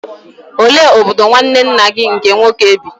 Olee obodo nwanne nna gị nke nwoke bi?